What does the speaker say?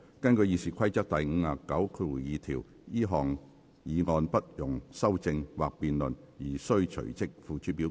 根據《議事規則》第592條，這項議案不容修正或辯論而須隨即付諸表決。